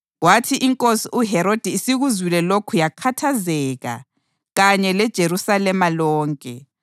Kwathi inkosi uHerodi isikuzwile lokhu yakhathazeka, kanye leJerusalema lonke.